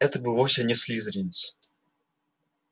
это был вовсе не слизеринец